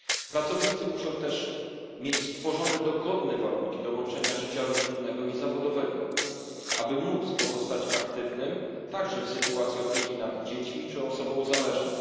Pracownicy muszą też mieć stworzone dogodne warunki do łączenia życia rodzinnego i zawodowego, aby móc pozostać aktywnymi także w sytuacji opieki nad dziećmi czy osobą zależną.